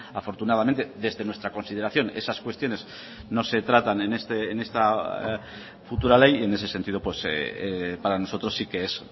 afortunadamente desde nuestra consideración esas cuestiones no se tratan en esta futura ley en ese sentido para nosotros sí que es